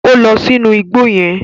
O lọ sínú ìgbò yẹn